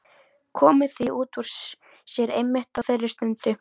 Komið því út úr sér einmitt á þeirri stundu.